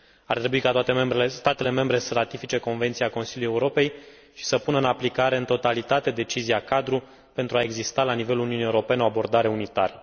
Ar trebui ca toate statele membre să ratifice convenția Consiliului Europei și să pună în aplicare în totalitate decizia cadru pentru a exista la nivelul Uniunii Europene o abordare unitară.